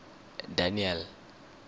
daniel